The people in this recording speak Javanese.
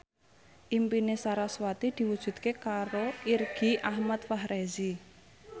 impine sarasvati diwujudke karo Irgi Ahmad Fahrezi